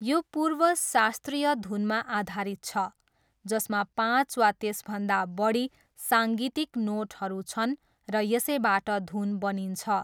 यो पूर्व शास्त्रीय धुनमा आधारित छ जसमा पाँच वा त्यसभन्दा बढी साङ्गीतिक नोटहरू छन् र यसैबाट धुन बनिन्छ।